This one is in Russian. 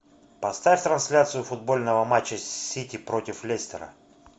поставь трансляцию футбольного матча сити против лестера